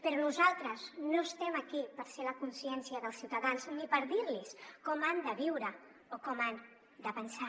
però nosaltres no estem aquí per ser la consciència dels ciutadans ni per dir los com han de viure o com han de pensar